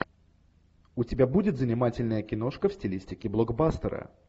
у тебя будет занимательная киношка в стилистике блокбастера